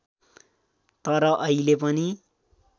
तर अहिले पनि